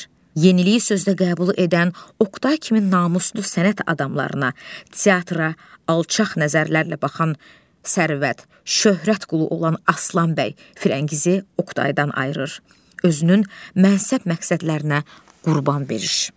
Yeniliyi sözdə qəbul edən Oqtay kimi namuslu sənət adamlarına, teatra alçaq nəzərlərlə baxan sərvət, şöhrət qulu olan Aslan bəy Firəngizi Oqtaydan ayırır özünün mənsub məqsədlərinə qurban verir.